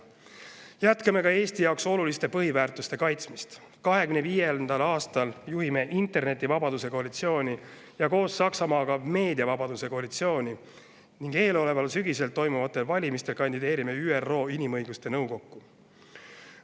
Jätkame ka Eesti jaoks oluliste põhiväärtuste kaitsmist: 2025. aastal juhime Internetivabaduse Koalitsiooni ja koos Saksamaaga Meediavabaduse Koalitsiooni ning eeloleval sügisel toimuvatel valimistel kandideerime ÜRO Inimõiguste Nõukokku.